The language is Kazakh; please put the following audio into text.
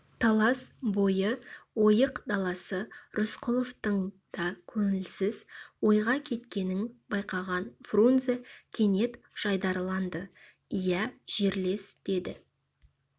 талас бойы ойық даласы рысқұловтың да көңілсіз ойға кеткенін байқаған фрунзе кенет жайдарыланды иә жерлес деді